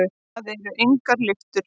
Það eru engar lyftur.